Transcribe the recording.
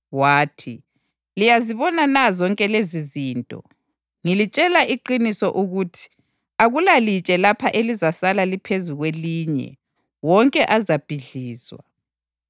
Wathi, “Liyazibona na zonke lezizinto? Ngilitshela iqiniso ukuthi akulalitshe lapha elizasala liphezu kwelinye; wonke azabhidlizwa.”